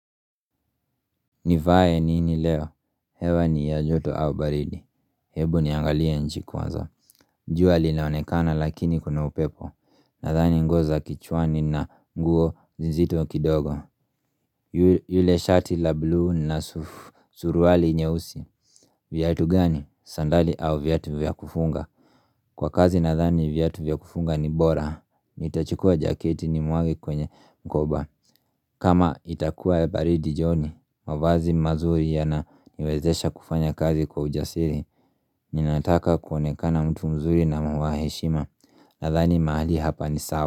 Nivae nini leo? Hewa ni ya joto au baridi? Hebu niangalie nchi kwanza. Jua linaonekana lakini kuna upepo. Nadhani nguo za kijuani na nguo zizito kidogo. Yule shati la blue na suruali nyeusi. Viatu gani? Sandali au viatu vya kufunga? Kwa kazi nadhani viatu vya kufunga ni bora. Nitachukua jaketi nimwage kwenye mkoba. Kama itakua baridi jioni, mavazi mazuri yananiwezesha kufanya kazi kwa ujasiri, ninataka kuonekana mtu mzuri na wa heshima, nadhani mahali hapa ni sawa.